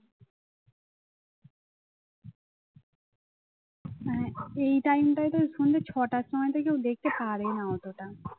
হ্যাঁ এই time টায় তো সন্ধ্যে ছটার সময় তে কেউ দেখতে পারে না অতটা